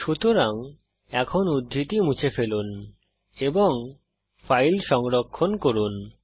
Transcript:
সুতরাং এখন উদ্ধৃতি মুছে ফেলুন এবং ফাইল সংরক্ষণ করুন